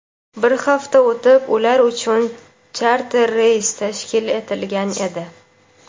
bir hafta o‘tib ular uchun charter reys tashkil etilgan edi.